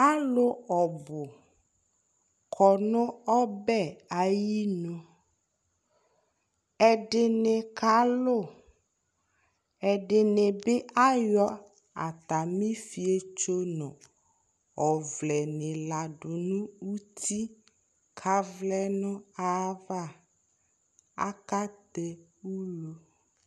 Alu ɔbu kɔ no ɔbɛ ayenu Ɛden kalu Ɛdene be ayɔ atame ifietso no ɔvɛ ne ladu no uti ko avlɛ no ayava Akatɛ ulu